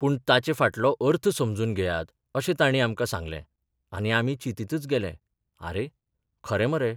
पूण ताचे फाटलो अर्थ समजून घेयात अशें तांणी आमकां सांगले आनी आमी चिंतीतच गेले आरे, खरें मरे.